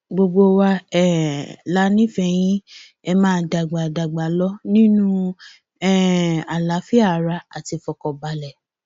gbogbo wa um la nífẹẹ yìn ẹ máa dàgbà dàgbà lọ nínú um àlàáfíà ara àti ìfọkànbalẹ